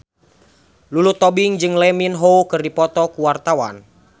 Lulu Tobing jeung Lee Min Ho keur dipoto ku wartawan